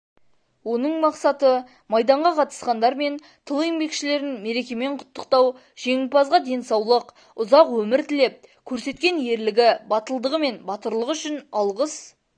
оның мақсаты майданға қатысқандар мен тыл еңбекшілерін мерекемен құттықтау жеңімпазға денсаулық ұзақ өмір тілеп көрсеткен ерлігі батылдығы мен батырлығы үшін алғыс